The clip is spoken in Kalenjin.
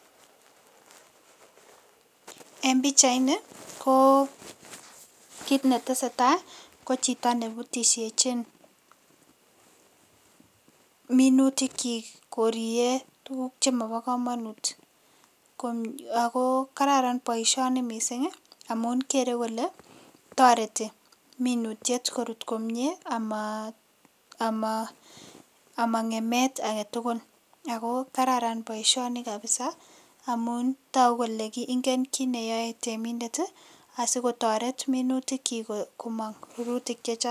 En pichait ni ko kiy netesetai ko chito nebutisiechin minutik chi koirie tugug chemobo komonut ako gararan poisioni mising amun kere kole toreti minutiet korut komie amangem agetugul. Ako gararan poishoni kabisa amun togu kole ngen kit neyoei temindet.